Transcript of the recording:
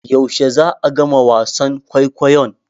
Yaushe za'a gama wasan kwaikwayon?